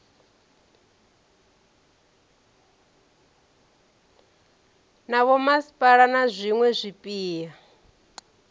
na vhomasipala na zwiwe zwipia